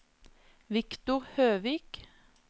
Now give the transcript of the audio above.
Victor Høvik